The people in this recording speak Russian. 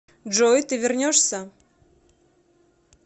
джой ты вернешься